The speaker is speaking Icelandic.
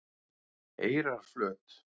Eyrarflöt